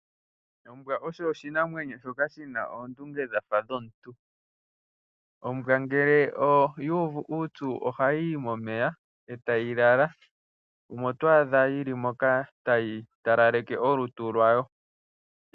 Ombwa osho oshinamwenyo shoka shina oondunge dhafa dhomuntu. Ombwa ngele oyuuvu uupyu ohayi yi momeya etayi lala, omo to adha yili moka tayi talaleke olutu lwayo.